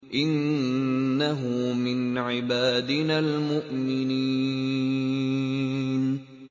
إِنَّهُ مِنْ عِبَادِنَا الْمُؤْمِنِينَ